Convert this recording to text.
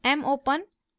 mopen